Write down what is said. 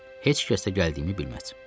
Heç kəs də gəldiyimi bilməz.